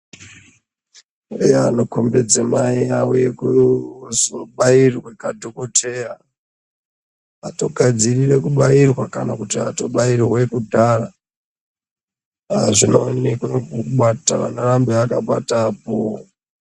Eya panokombidza mudzimai auya kuzobairwa nadhokodheya atogadzirirwa kutobairwa kana kuti atobairwa kudhaya azvinooneka nepanoramba akabata apo.